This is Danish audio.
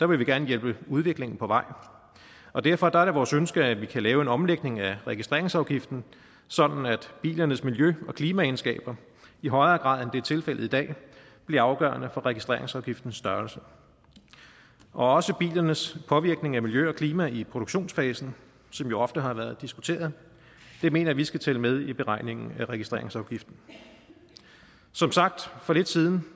vil vi gerne hjælpe udviklingen på vej derfor er det vores ønske at vi kan lave en omlægning af registreringsafgiften sådan at bilernes miljø og klimaegenskaber i højere grad end det er tilfældet i dag bliver afgørende for registreringsafgiftens størrelse også bilernes påvirkning af miljø og klima i produktionsfasen som jo ofte har været diskuteret mener vi skal tælle med i beregningen af registreringsafgiften som sagt for lidt siden